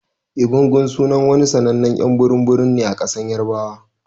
Egungun sunan wani sannanen y'an burum burum ne a kasan yarbawa.